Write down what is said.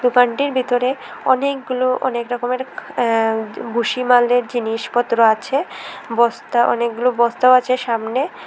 দোকানটির বিতরে অনেকগুলো অনেক রকমের অ্যা বুসি মালের জিনিসপত্র আছে বস্তা অনেকগুলো বস্তাও আছে সামনে।